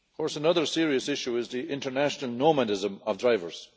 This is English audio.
Another serious issue is the international nomadism of drivers.